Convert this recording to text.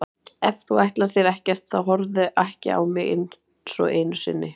Ef þú ætlar þér ekkert þá horfðu ekki á mig einsog einu sinni.